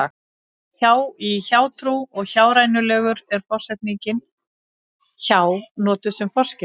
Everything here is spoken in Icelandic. hjá í hjátrú og hjárænulegur er forsetningin hjá notuð sem forskeyti